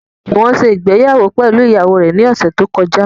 Jùwọ́n ṣe ìgbéyàwó pẹ̀lú ìyàwó rẹ̀ ní ọ̀sẹ̀ tó kọjá